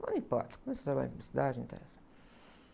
Não importa, começou a trabalhar em publicidade, não interessa.